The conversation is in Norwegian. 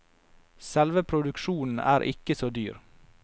Selve produksjonen er ikke så dyr.